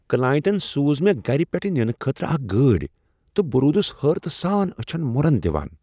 کلاینٹن سوٗز مےٚ گرٕ پیٹھٕ ننہٕ خٲطرٕ اکھ گٲڑۍ تہٕ بہٕ روٗدس حٲرتہٕ سان أچھن مرن دوان۔